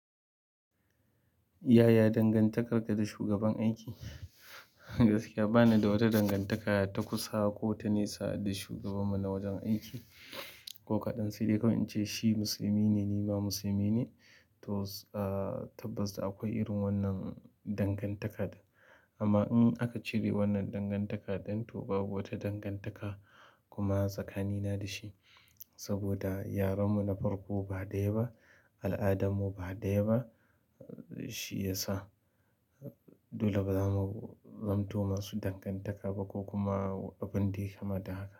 Yaya dangantakar ka da shugaban aiki? Gaskiya ba ni da wata dangantaka ta kusa ko ta nesa da shugabanmu na wajen aiki. Ko kaɗan sai dai kawai in ce shi musulmi ne, ni ma musulmi ne. To, tabbas da akwai irin wannan dangantakar. Amma in aka cire wannan dangantakar ɗin, to babu wata dangantaka kuma tsakanina da shi. Saboda yaren mu na farko ba ɗaya ba, al'adarmu ba ɗaya ba, shi ya sa. Dole bazamu zamto ma su dangantaka ba ko kuma abin da yayi kama da haka.